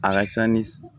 A ka ca ni